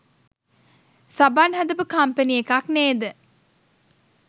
සබන් හදපු කම්පණි එකක් නේද?